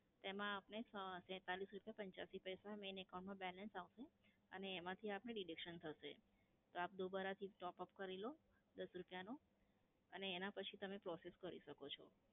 તેમાં આપને અ તેંતાલીસ રૂપયા પંચયાસી પૈસા main account માં balance આપનું અને એમાંથી deduction થશે. તો આપ દુબારાથી top up કરી લો દસ રૂપયાનો અને એના પછી તમે process કરી શકો છો.